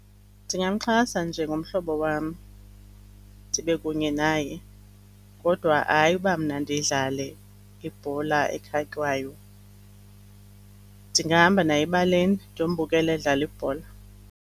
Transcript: Ndingamxhasa njengomhlobo wam ndibe kunye naye, kodwa hayi uba mna ndidlale ibhola ekhatywayo. Ndingahamba naye ebaleni ndiyombukela edlala ibhola.